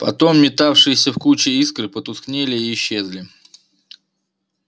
потом метавшиеся в куче искры потускнели и исчезли